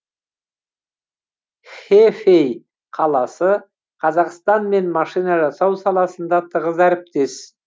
хэфэй қаласы қазақстанмен машина жасау саласында тығыз әріптес